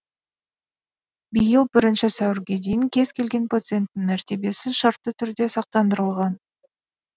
биыл бірінші сәуірге дейін кез келген пациенттің мәртебесі шартты түрде сақтандырылған